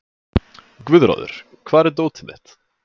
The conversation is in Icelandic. Guðráður, hvar er dótið mitt?